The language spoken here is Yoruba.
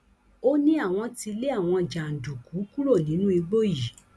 ó ní àwọn ti lé àwọn jàǹdùkú kúrò nínú igbó yìí